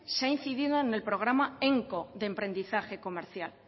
se ha incidido en el programa emco de emprendizaje comercial